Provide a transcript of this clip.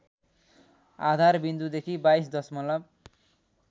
आधारविन्दुदेखि २२ दशमलव